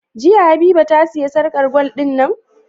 Jiya habiba ta siya sarƙar gwal din nan?